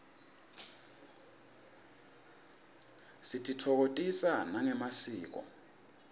sititfokotisa nangemasiko